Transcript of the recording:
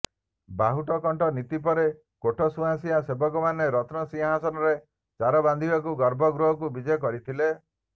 ବାହୁଟକଣ୍ଟ ନୀତି ପରେ କୋଠ ସୁଆସିଆଁ ସେବକମାନେ ରତ୍ନ ସିଂହାସନରେ ଚାର ବାନ୍ଧିବାକୁ ଗର୍ଭଗୃହକୁ ବିଜେ କରିଥିଲେ